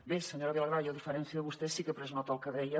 bé senyora vilagrà jo a diferència de vostè sí que he pres nota del que deia